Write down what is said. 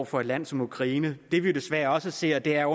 for et land som ukraine det vi desværre også ser er